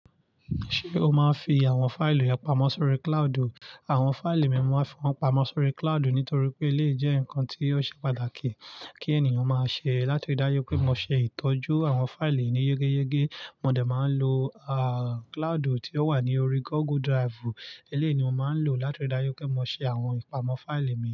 Ṣé o máa ń fi àwọn fáìli rẹ pamọ́ sórí cloud? Àwọn fáìli mi mo máa ń fi wọ́n pamọ́ sórí cloud nítorí pé lé jẹ́ nǹkan tí ó ṣe pàtàkì kí ènìyàn máa ṣe. Látirí dáju pé mo ṣe ìtọ́jú àwọn fáìlì yi yégeyégé, mo dẹ̀ máa ń lo, àà, cloud tí ó wà ní orí Google Drive. Elé ni mo máa ń lò látirí dáju pé mo ṣe àwọn ìpamọ́ fáìlì mi.